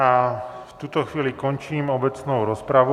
A v tuto chvíli končím obecnou rozpravu.